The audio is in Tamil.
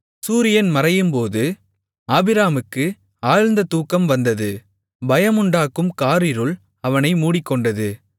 சூரியன் மறையும்போது ஆபிராமுக்கு ஆழ்ந்த தூக்கம் வந்தது பயமுண்டாக்கும் காரிருள் அவனை மூடிக்கொண்டது